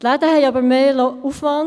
Die Läden haben aber mehr Aufwand;